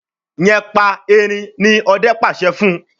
yén pá ẹrin! ní Òde pàṣẹ fún.